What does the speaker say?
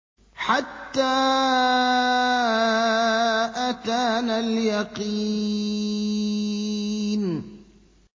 حَتَّىٰ أَتَانَا الْيَقِينُ